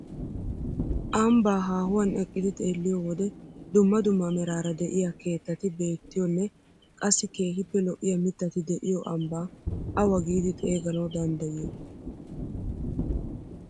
Ambbaa haahuwaan eqqidi xeelliyoo wode dumma dumma meraara de'iyaa keettati beettiyoonne qassi keehippe lo"iyaa mittati de'iyoo ambbaa awa giidi xeeganawu danddayiyoo?